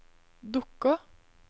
dukker